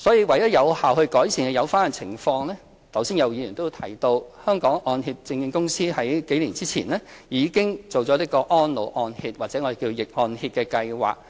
為有效地改善有關情況，剛才有議員亦提到，香港按揭證券有限公司在數年前已推行安老按揭，即逆按揭計劃。